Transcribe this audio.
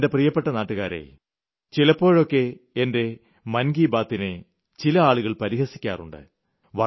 എന്റെ പ്രിയപ്പെട്ട നാട്ടുകാരേ ചിലപ്പോഴൊക്കെ എന്റെ മൻ കി ബാതിനെ ചില ആളുകൾ പരിഹസിക്കാറുണ്ട്